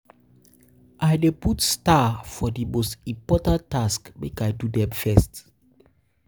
I dey I dey put star for di most important tasks, make I do dem first.